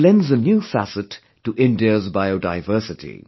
It lends a new facet to India's biodiversity